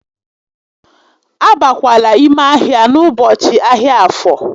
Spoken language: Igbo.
A bakwala ime ahia n'ụbọchị ahịa Afo!